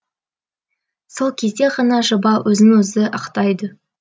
сол кезде ғана жоба өзін өзі ақтайды